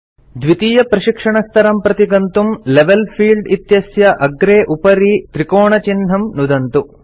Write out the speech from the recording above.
द्वितीयप्रशिक्षणस्तरं प्रति गन्तुं level field इत्यस्याग्रे उपरि त्रिकोणचिह्नं नुदन्तु